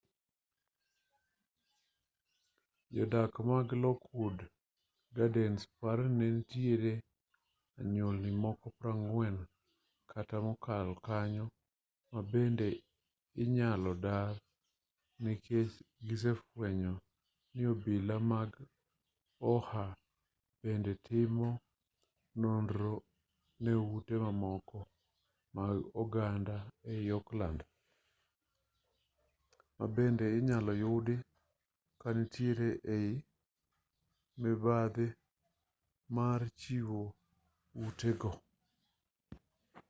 jo-dak mag lockwood gardens paro ni nitiere anyuolni mamoko 40 kata mokalo kanyo mabende inyalo dar nikech gisefuenyo ni obila mag oha bende timo nonro ne ute mamoko mag oganda ei oakland ma bende inyalo yudi ka nitiere ei mibadhi mar chiwo ute go